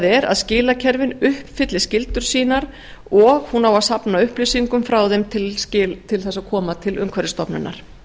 er að skilakerfin uppfylli skyldur sínar og hún á að safna upplýsingum frá þeim til þess að koma til umhverfisstofnunar